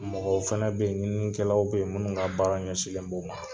Mɔgɔw fana bɛ yen ɲinikɛlaw bɛ yen minnu ka baara ɲɛsinlen b'o ma